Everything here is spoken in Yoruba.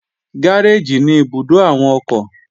Gáréèjì ní ibùdó àwọn ọkọ̀